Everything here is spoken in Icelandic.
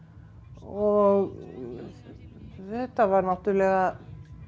og þetta var náttúrulega